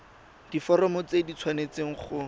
diforomo tse di tshwanesteng go